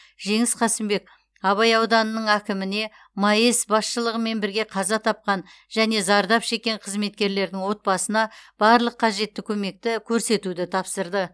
жеңіс қасымбек абай ауданының әкіміне маэс басшылығымен бірге қаза тапқан және зардап шеккен қызметкерлердің отбасына барлық қажетті көмекті көрсетуді тапсырды